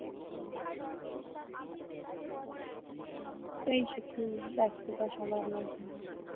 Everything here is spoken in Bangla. উম এই সে একটু ব্যাস্ততা সবার মধ্যে